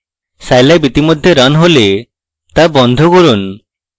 scilab ইতিমধ্যে running হলে তা বন্ধ করুন